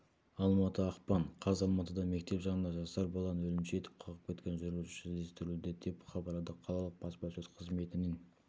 алматы ақпан қаз алматыда мектеп жанында жасар баланы өлімші етіп қағып кеткен жүргізуші іздестірілуде деп хабарлады қалалық баспасөз қызметінен